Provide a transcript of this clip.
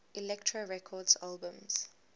elektra records albums